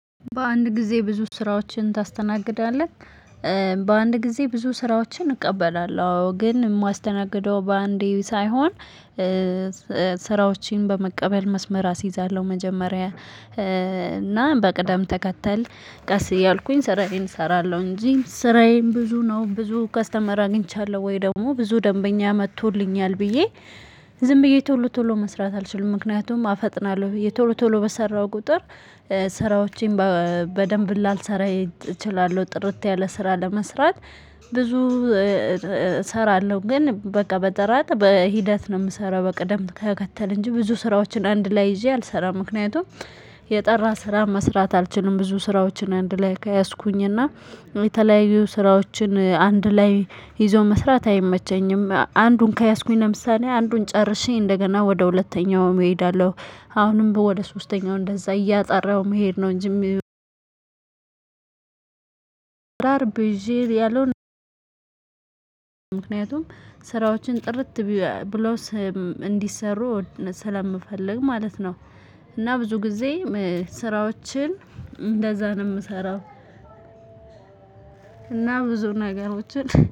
በአንድ ጊዜ ብዙ ስራዎችን ታስተናግዳለህ? በአንድ ጊዜ ብዙ ስራዎችን እቀበላለሁ ግን እማስደናግደው በአንዴ ሳይሆን ስራዎችን በመቀበል መስመር አስይዛለሁ መጀመሪያ እና በቅደም ተከተል ቀስ እያልኩኝ ስራዬን እሰራለሁ። እንጂ ስራዬን ብዙ ነው ብዙ ከስተመር አግኝቻለሁ ወይ ደግሞ ብዙ ደንበኛ መቶልኛል ብዬ ዝም ብዬ ቶሎ ቶሎ መስራት አልችልም። ምክንያቱም አፈጥናለሁ ብየ ቶሎ ቶሎ በሰራው ቁጥር። ስራዎቼን በደንብ ላልሰራየ እችላለሁ ጥርት ያለ ስራ ለመስራት። ብዙ እሰራለሁ ግን በቃ በጥራት በሂደት ነው ምሰራው በቅደም ተከተል እንጂ ብዙ ስራዎችን አንድ ላይ ይዤ አልሰራም። ምክንያቱም የጠራ ስራ መስራት አልችልም ብዙ ስራዎችን አንድ ላይ ከያዝኩኝና የተለያዩ ስራዎችን አንድ ላይ ይዞ መስራት አይመቸኝም። አንዱን ከያዝኩኝ ለምሳሌ አንዱን ጨርሽ እንደገና ወደ ሁለተኛውም እሄዳለሁ። አሁንም በወደ ሶስተኛው እንደዛ እያጠራሁ መሄድ ነው እንጂ። ላር ብዤየ ያለው ምክንያቱም ስራዎችን ጥርት ብሎ ስም እንዲሰሩ ስለምፈልግ ማለት ነው። እና ብዙ ግዜም ስራዎችን እንደዛ ነው ምሰራው። እና ብዙ ነገሮችን